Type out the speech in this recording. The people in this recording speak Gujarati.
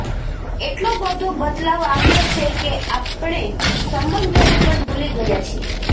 એટલો બધો બદલાવ આવ્યો છે કે આપણે સંબંધોને પણ ભૂલી ગયા છીએ